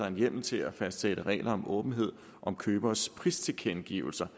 en hjemmel til at fastsætte regler om åbenhed om købers pristilkendegivelser